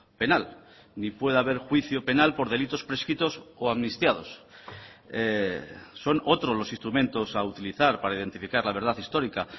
penal ni puede haber juicio penal por delitos prescritos o amnistiados son otros los instrumentos a utilizar para identificar la verdad histórica